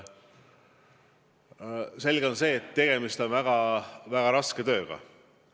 Selge on see, et tegemist on väga raske tööga.